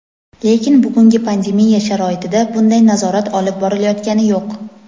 Lekin bugungi pandemiya sharoitida bunday nazorat olib borilayotgani yo‘q.